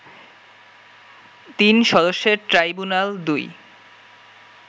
তিন সদস্যের ট্রাইব্যুনাল-২